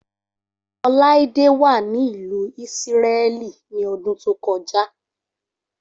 Oláídé wà ní ìlú Ísírẹ́lì ní ọdún tó kọjá.